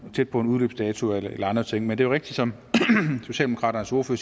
tæt på en udløbsdato eller andre ting men det rigtigt som socialdemokraternes ordfører